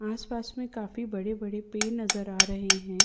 आसपास में काफी बड़े-बड़े पेड़ नजर आ रहें हैं।